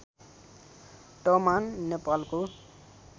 तमान नेपालको